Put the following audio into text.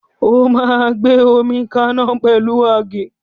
O máa gbé omi kaná pẹ̀lú àgé.